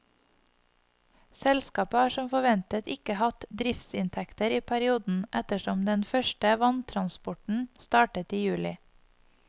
Selskapet har som forventet ikke hatt driftsinntekter i perioden, ettersom den første vanntransporten startet i juli.